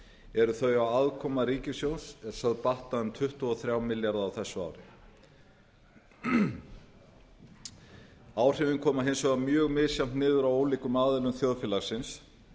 eru þau að afkoma ríkissjóðs er sögð batna um tuttugu og þrjá milljarða á þessu ári áhrifin koma hins vegar mjög misjafnt niður á ólíkum aðilum þjóðfélagsins